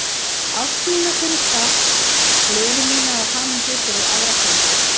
Ást mína fyrir stakk, gleði mína og hamingju fyrir aðra peysu.